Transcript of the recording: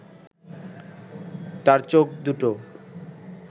তার চোখ দুটো